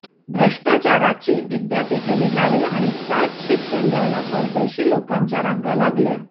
भ्रष्टाचाराची विद्यापीठे निघाली आणि त्यात शिक्षण घ्यायला परदेशी लोकांच्या रांगा लागल्या